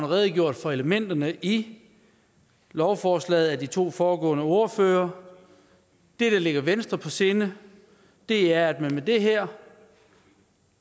redegjort for elementerne i lovforslaget af de to foregående ordførere det der ligger venstre på sinde er at man med det her